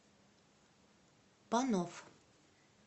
панов